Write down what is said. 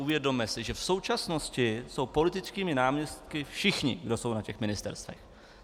Uvědomme si, že v současnosti jsou politickými náměstky všichni, kdo jsou na těch ministerstvech.